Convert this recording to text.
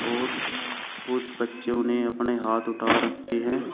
और कुछ बच्चों ने अपने हाथ उठा रखे हैं।